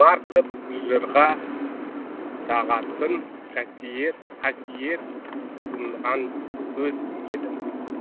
тұмар қып жырға тағатын қасиет тұнған көз едім